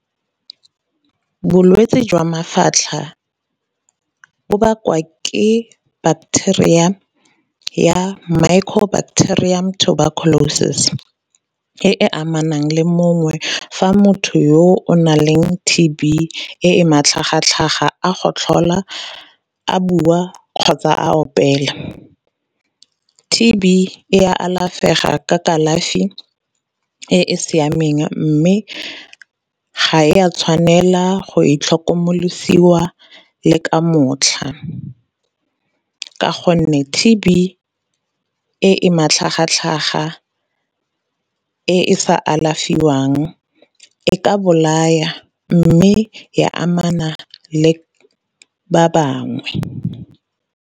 Bolwetse jwa mafatlha bo bakwa ke bateria ya mycobacterium tuberculosis e e amanang le mongwe fa motho yo o naleng T_B e matlhagatlhaga a gotlhola a bua kgotsa a opela. T_B e alafega ka kalafi e e siameng, mme ga e a tshwanela go itlhokomolosiwa le ka motlha. Ka gonne T_B e matlhagatlhaga e sa alafiwang e ka bolaya mme ya amana le ba bangwe.